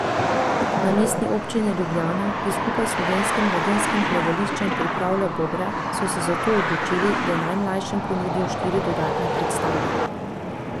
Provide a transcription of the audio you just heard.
Na Mestni občini Ljubljana, ki skupaj s Slovenskim mladinskim gledališčem pripravlja Bobre, so se zato odločili, da najmlajšim ponudijo štiri dodatne predstave.